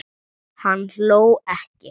Hann hló ekki.